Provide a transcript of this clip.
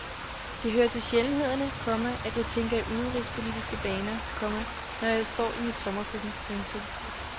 Det hører til sjældenhederne, komma at jeg tænker i udenrigspolitiske baner, komma når jeg står i mit sommerkøkken. punktum